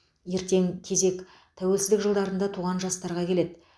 ертең кезек тәуелсіздік жылдарында туған жастарға келеді